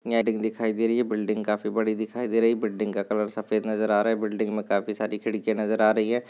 दिखाई दे रही है बिल्डिंग काफी बड़ी दिखाई दे रही है बिल्डिंग का कलर सफेद नजर आ रहा है बिल्डिंग मे काफी सारी खिड़किया नजर आ रही है।